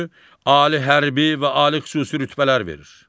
Ali hərbi və ali xüsusi rütbələr verir.